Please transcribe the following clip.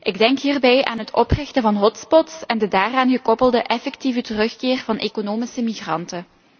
Ik denk hierbij aan het oprichten van hotspots en de daaraan gekoppelde effectieve terugkeer van economische migranten.